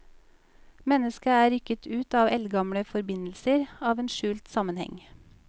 Mennesket er rykket ut av eldgamle forbindelser, av en skjult sammenheng.